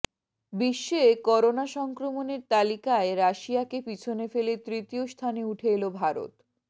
বিশ্বে করোনা সংক্রমণের তালিকায় রাশিয়াকে পিছনে ফেলে তৃতীয়স্থানে উঠে এল ভারত